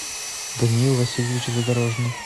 даниил васильевич задорожный